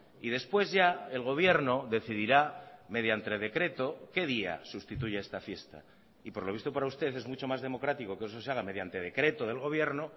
y después ya el gobierno decidirá mediante decreto qué día sustituye esta fiesta y por lo visto para usted es mucho más democrático que eso se haga mediante decreto del gobierno